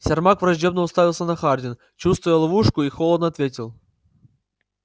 сермак враждебно уставился на хардина чувствуя ловушку и холодно ответил